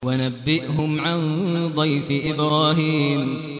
وَنَبِّئْهُمْ عَن ضَيْفِ إِبْرَاهِيمَ